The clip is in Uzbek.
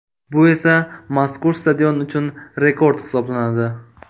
Bu esa mazkur stadion uchun rekord hisoblanadi.